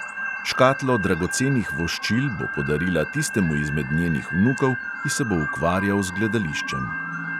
Škatlo dragocenih voščil bo podarila tistemu izmed njenih vnukov, ki se bo ukvarjal z gledališčem.